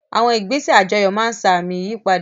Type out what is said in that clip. Àwọn ìgbésẹ̀ àjọyọ̀ máa ń sa àmì ìyípadà